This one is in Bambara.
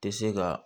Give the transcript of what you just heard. Tɛ se ka